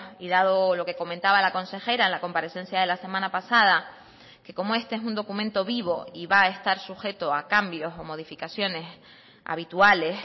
y dado lo que comentaba la consejera en la comparecencia de la semana pasada que como este es un documento vivo y va a estar sujeto a cambios o modificaciones habituales